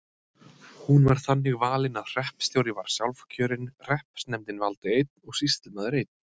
Hún var þannig valin að hreppstjóri var sjálfkjörinn, hreppsnefndin valdi einn og sýslumaður einn.